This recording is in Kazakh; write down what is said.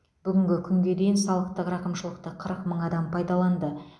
бүгінгі күнге дейін салықтық рақымшылықты қырық мың адам пайдаланды